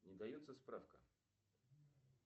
не дается справка